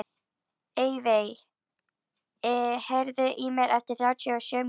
Evey, heyrðu í mér eftir þrjátíu og sjö mínútur.